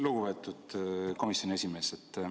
Lugupeetud komisjoni esimees!